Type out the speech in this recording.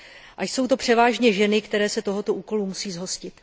A jsou to převážně ženy, které se tohoto úkolu musí zhostit.